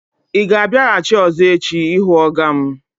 Ị ga-abịaghachi ọ̀zọ́ echi ịhụ ọga m?